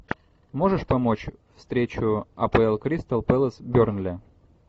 можешь помочь встречу апл кристал пэлас бернли